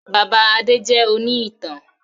Bàbá Adé jẹ òní ìtàn